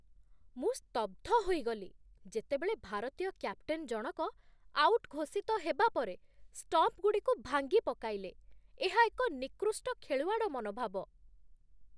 ମୁଁ ସ୍ତବ୍ଧ ହୋଇଗଲି, ଯେତେବେଳେ ଭାରତୀୟ କ୍ୟାପ୍ଟେନ ଜଣକ ଆଉଟ୍ ଘୋଷିତ ହେବା ପରେ ଷ୍ଟମ୍ପଗୁଡ଼ିକୁ ଭାଙ୍ଗିପକାଇଲେ, ଏହା ଏକ ନିକୃଷ୍ଟ ଖେଳୁଆଡ଼ ମନୋଭାବ।